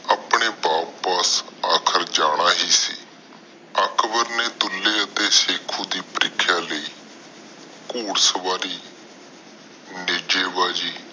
ਆਪਣੇ ਵਾਪਿਸ ਅਖੀਰ ਜਾਣਾ ਹੀ ਸੀ ਅਕਬਰ ਨੇ ਦੁਲੇ ਨਾਲ ਸਿੱਕੋ ਦੀ ਪਰੀਖਿਆ ਲਾਇ ਘੋਰ ਸਵਾਰੀ ਨਿਜੇ ਬੱਜੀ